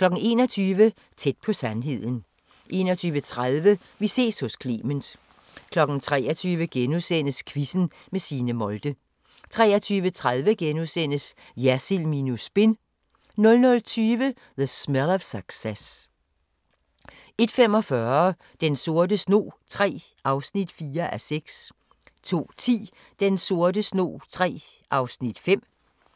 21:00: Tæt på sandheden 21:30: Vi ses hos Clement 23:00: Quizzen med Signe Molde * 23:30: Jersild minus spin * 00:20: The Smell of Success 01:45: Den sorte snog III (4:6) 02:10: Den sorte snog III (5:6)